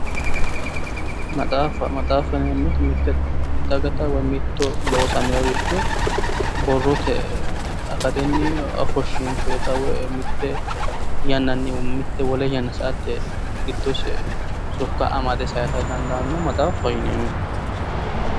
Maxaaffa, maxaaffa yineemoti mitte dagatta woy mitto loosamoyoricho borrote akattinni ofoshiinshoyita woy mitte yannanni mitte wole yanna sa'atte gidose sokka amade sayisate dandaanoha maxaafaho yineemmo.